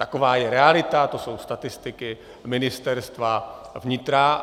Taková je realita, to jsou statistiky Ministerstva vnitra.